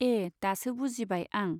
ए दासो बुजिबाय आं।